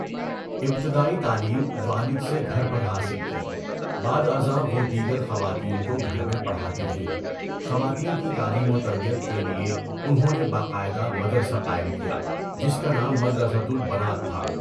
ابتدائی تعلیم والد سے گھر پر حاصل کی۔ بعد ازاں وہ دیگر خواتین کو گھر میں پڑھاتی رہیں۔ خواتین کی تعلیم و تربیت کے لیے انہوں نے باقاعدہ مدرسہ قائم کیا جس کا نام مدرسۃُ البنات تھا۔